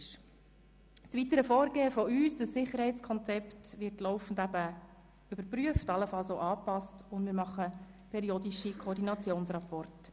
Zum weiteren Vorgehen von unserer Seite: Das Sicherheitskonzept wird laufend überprüft und allenfalls auch angepasst, und wir erstellen periodische Koordinationsrapporte.